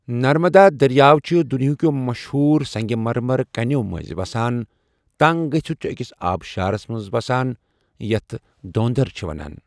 نرمدا دریاو چھُ دنیا کٮ۪و مشہوٗر سنگ مرمر کٔنٮ۪و مٔنٛزۍ وسان، تنگ گٔژھتھ چھُ أکِس آبشارَس منٛز وَسان یتھ دھوندھر چھِ وَنان۔